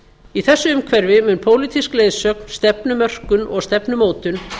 í þessu umhverfi mun pólitísk leiðsögn stefnumörkun og stefnumótun